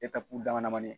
dama damani